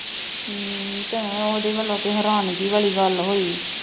ਅਮ ਭੈਣ ਓਦੇਂ ਵਲੋਂ ਤੇ ਹੈਰਾਨਗੀ ਵਾਲੀ ਗੱਲ ਹੋਈ।